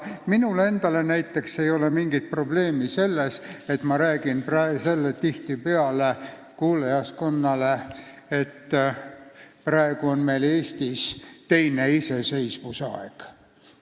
Minul endal ei ole näiteks mingit probleemi, ma räägin tihtipeale kuulajaskonnale, et praegu on Eestis teine iseseisvusaeg.